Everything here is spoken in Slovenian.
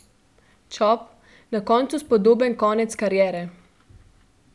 Čop: 'Na koncu spodoben konec kariere.